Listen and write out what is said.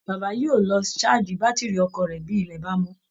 Bàbá yóò lọ ṣáàjì bátìrì ọkọ̀ rẹ̀ bí ilẹ̀ bá mọ́